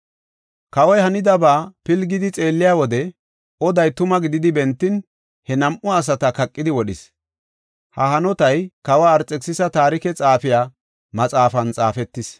Kawoy hanidaba pilgidi xeelliya wode, oday tuma gididi bentin, he nam7u asata kaqidi wodhis. Ha hanotay kawa Arxekisisa Taarike xaafiya maxaafan xaafetis.